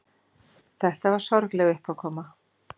Þetta var sorgleg uppákoma.